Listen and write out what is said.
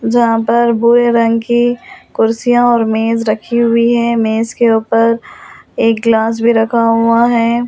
जहां पर भूरे रंग की कुर्सियां और मेज रखी हुई है मेज के ऊपर एक गिलास भी रखा हुआ है।